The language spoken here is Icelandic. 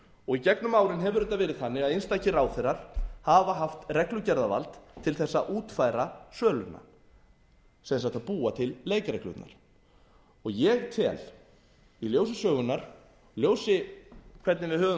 og í gegnum árin hefur þetta verið þannig að einstakir ráðherrar hafa haft reglugerðarvald til þess að útfæra söluna sem sagt að búa til leikreglurnar og ég tel í ljósi sögunnar í ljósi þess hvernig við höfum